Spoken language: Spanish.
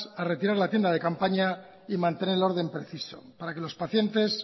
a retirar la tienda de campaña y mantener el orden preciso para que los pacientes